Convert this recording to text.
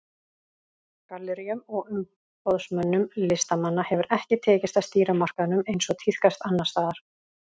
Galleríum og umboðsmönnum listamanna hefur ekki tekist að stýra markaðnum eins og tíðkast annars staðar.